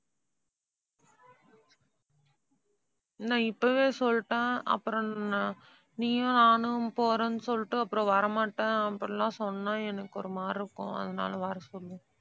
நான் இப்பவே சொல்லிட்டேன். அப்புறம் அஹ் நீயும், நானும் போறேன்னு சொல்லிட்டு அப்புறம் வர மாட்டேன் அப்படி எல்லாம் சொன்னா எனக்கு ஒரு மாதிரி இருக்கும். அதனாலே வர சொல்லு